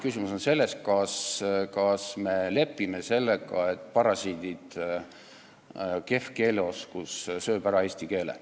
Küsimus on selles, kas me lepime sellega, et parasiitsõnad, kehv keeleoskus söövad ära eesti keele.